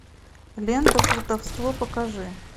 лента плутовство покажи